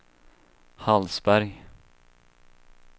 Hallsberg